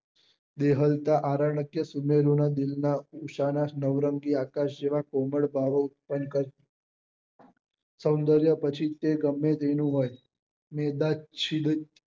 દેહવતા આરન્ક્ય સુનેરી ના દિલ માં નવરંગી આકાશ જેવા કોમલ ભાવે ઉત્પન્ન સોંદર્ય પછી તે ગમે તેનું હોય મેદાન